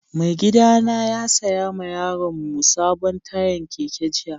Mai gida na ya saya ma yaron mu sabon tayan keke jiya.